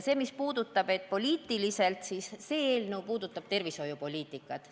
Selle kohta, et eelnõu on poliitiline, ütlen, et jah, see eelnõu puudutab tervishoiupoliitikat.